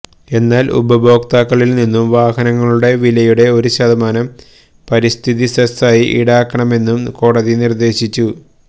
എന്നാല് ഉപഭോക്താക്കളില്നിന്നും വാഹനങ്ങളുടെ വിലയുടെ ഒരു ശതമാനം പരിസ്ഥിതി സെസായി ഈടാക്കണമെന്നും കോടതി നിര്ദേശിച്ചു